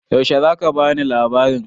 Yaushe za ka ba ni labarin?